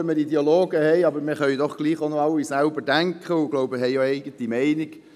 Auch, wenn wir Ideologen haben, können wir alle selber denken und haben wohl auch eine eigene Meinung.